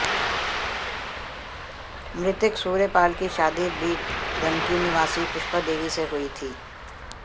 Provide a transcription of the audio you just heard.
मृतक सूर्यपाल की शादी बिंदकी निवासी पुष्पा देवी से हुई थी